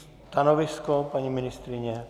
Stanovisko paní ministryně?